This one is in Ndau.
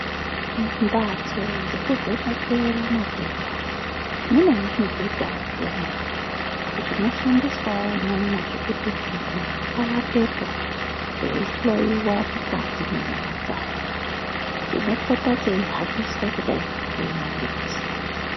Mumbatso dzekuvhenekera matenda munezvimubhedhawo zvemwo zvinoshandiswawo umwomwo zvekuti muntu awatepo eihloiwa mukati mwenyama dzake chinopota cheihambiswa kudai nemagetsi.